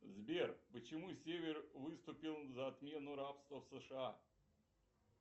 сбер почему север выступил за отмену рабства в сша